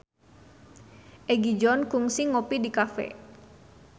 Egi John kungsi ngopi di cafe